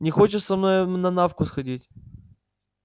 не хочешь со мной на навку сходить